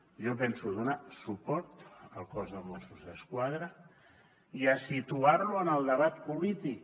jo penso donar suport al cos de mossos d’esquadra i a situar lo en el debat polític